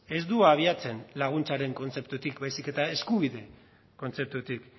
ez du abiatzen laguntzaren kontzeptutik baizik eta eskubide kontzeptutik